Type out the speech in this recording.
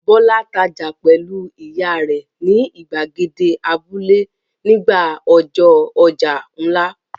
Bọ́lá tajà pẹ̀lú ìyá rẹ̀ ni ìgbàgede abúlé nígbà ọjọ́ ọjà ńlá.